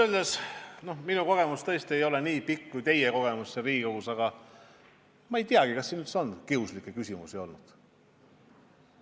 Minu kogemus siin Riigikogus tõesti ei ole nii pikk kui teie kogemus ja ma ei tea, kas siin üldse on kiuslikke küsimusi olnud.